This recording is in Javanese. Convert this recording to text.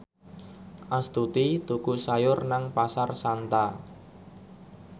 Astuti tuku sayur nang Pasar Santa